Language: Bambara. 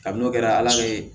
Kabini n'o kɛra ala bee